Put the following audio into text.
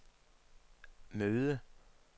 møde